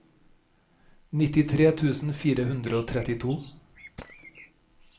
nittitre tusen fire hundre og trettito